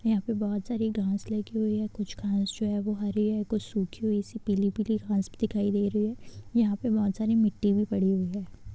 यहाँ पर बहोत सारी घास लगी हुई है | कुछ घास जो है हरी है कुछ सुखी हुई सी पिली पिली घास दिखाई दे रही है | यहाँ पे बहोत सारी मिट्टी भी पड़ी हुई है।